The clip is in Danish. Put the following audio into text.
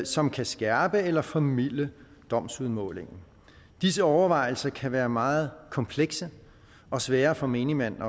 som kan skærpe eller formilde domsudmålingen disse overvejelser kan være meget komplekse og svære for menigmand